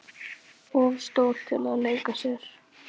Of stór til að leika sér að.